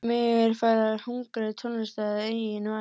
Mig er farið að hungra í tónlist að eigin vali.